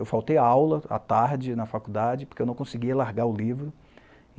Eu faltei a aula, à tarde, na faculdade, porque eu não conseguia largar o livro.